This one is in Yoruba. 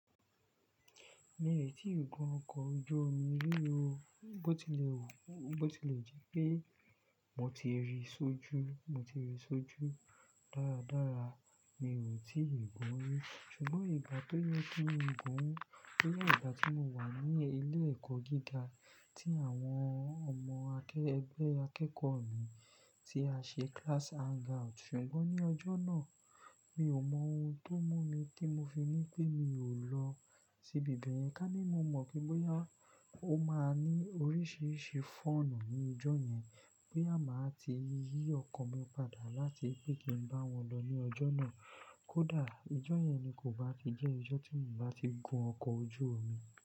Mi ò tíì gun ọkọ̀ ojú omi rí o, bó tí lè wù, bó tí lè jepé mo ti rí i sójú, mo ti rí i sójú dáradára mi ò tí ì gun ún, ṣùgbọ́n ìgbà tó yẹ kí n gun ún boya ìgbà tí mo wà ní ilé ẹ̀kọ́ gíga tí àwọn ọmọ akẹ-- ẹgbẹ́ akẹ́kọ̀ọ́ mi tí a ṣe class hangout, ṣùgbọ́n ní ọjọ́ náà mi ò mọ ohun tó mú mi tí mo fi ní pé mi ò lọ sí ibi bẹ̀yẹn, ká ní mo mọ̀ pé bóyá ó máa ní oríṣiríṣi fọ̀nù ní ijó yẹn, boya máa ti yí ọkan mi padà láti pé kí n bá wọn lọ ní ọjọ́ náà. Kódà ijó yẹn ni kò bá ti jẹ́ ijó tí mò bá ti gun ọkọ̀ ojú omi.